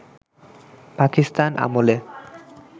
পাকিস্তান আমলে